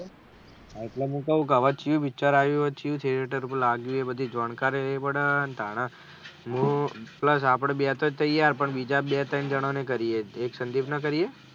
એટલે મેં કહું હવે વિચાર આયુ છે શું છે લાગ્યું જાણકારી લેવી પડે તારી plus આપળે બે તો તૈયાર પણ બીજા બે તય્ન જાના ને કરીએ એક સંદીપ ને કરીએ.